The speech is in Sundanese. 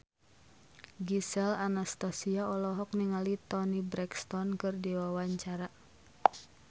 Gisel Anastasia olohok ningali Toni Brexton keur diwawancara